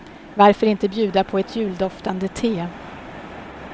Varför inte bjuda på ett juldoftande te.